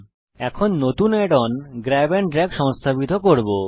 এখন আমরা নতুন Add on grab and drag সংস্থাপিত করব